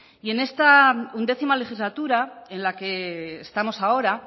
y en esta undécima legislatura en la que estamos ahora